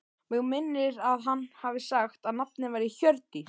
Mig minnir að hann hafi sagt að nafnið væri Hjördís.